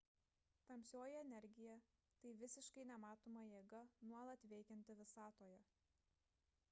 tamsioji energija – tai visiškai nematoma jėga nuolat veikianti visatoje